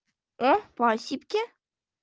о спасибки